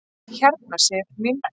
Hérna Sif mín.